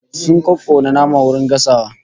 Sun kokkona nama garin gasawa